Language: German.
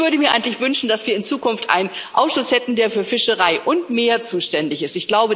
Ich würde mir eigentlich wünschen, dass wir in Zukunft einen Ausschuss hätten, der für Fischerei und Meer zuständig ist.